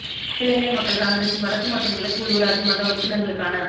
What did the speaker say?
அகில இலங்கை மக்கள் காங்கிரஸின் வடக்கு மற்றும் கிழக்கு உள்ளூராட்சி மன்ற உறுப்பினர்களுக்கான